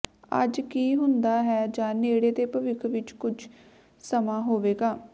ਅੱਜ ਕੀ ਹੁੰਦਾ ਹੈ ਜਾਂ ਨੇੜੇ ਦੇ ਭਵਿੱਖ ਵਿੱਚ ਕੁਝ ਸਮਾਂ ਹੋਵੇਗਾ